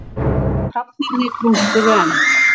Hrafnarnir krunkuðu enn.